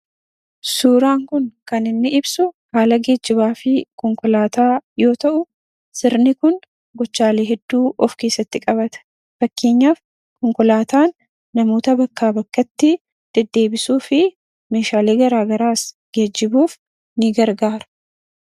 Suuraan kun kan ibsu haala geejjibaa fi konkolaataa yoo ta’u, sirni kun gochaalee hedduu of keessatti qabata. Fakkeenyaaf konkolaataan namoota bakkaa bakkatti deddeebisuu fi meeshaalee gara garaas geejjibuuf ni gargaara.